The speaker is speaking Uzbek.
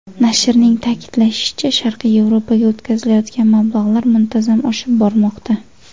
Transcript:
Nashrning ta’kidlashicha, Sharqiy Yevropaga o‘tkazilayotgan mablag‘lar muntazam oshib bormoqda.